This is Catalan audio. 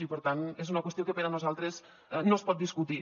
i per tant és una qüestió que per a nosaltres no es pot discutir